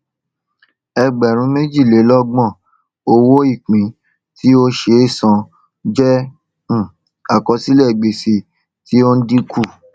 ẹgbẹrún méjìlélọgbọn owóìpín tí ó ṣe é san jẹ um àkọsílẹ gbèsè tí ó ń dínkù